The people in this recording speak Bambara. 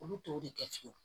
Olu t'o de kɛ fiyewu